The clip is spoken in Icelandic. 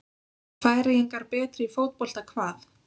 Færeyingar betri í fótbolta hvað?